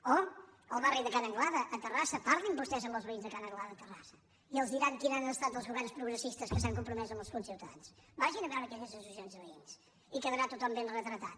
o el barri de ca n’anglada a terrassa parlin vostès amb els veïns de ca n’anglada a terrassa i els diran quins han estat els governs progressistes que s’han compromès amb els conciutadans vagin a veure aquelles associacions de veïns i quedarà tothom ben retratat